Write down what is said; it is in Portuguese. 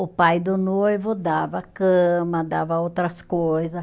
O pai do noivo dava cama, dava outras coisa